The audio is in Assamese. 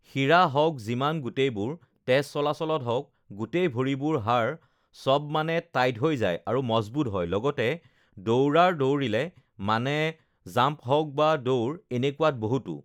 সিৰা হওঁক যিমান গোটেইবোৰ তেজ চলাচলত হওঁক গোটেই ভৰিবোৰ হাড় সবমানে টাইট হৈ যায় আৰু মজবুত হয় লগতে দৌৰাৰ দৌৰিলে মানে জাম্প হওঁক বা দৌৰ এনেকুৱাত বহুতো